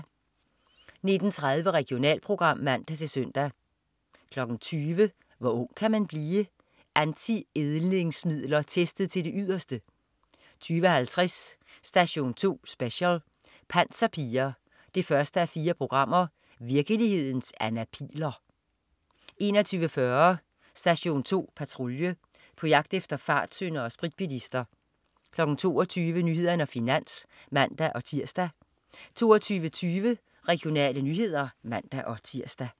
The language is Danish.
19.30 Regionalprogram (man-søn) 20.00 Hvor ung kan man blive? Anti-ældningsmidler testet til det yderste 20.50 Station 2 Special: Panserpiger 1:4. Virkelighedens Anna Pihl'er 21.40 Station 2 Patrulje. På jagt efter fartsyndere og spritbilister 22.00 Nyhederne og Finans (man-tirs) 22.20 Regionale nyheder (man-tirs)